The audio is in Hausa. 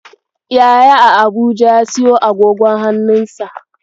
Yaya a Abuja ya siyo agogon hannunsa.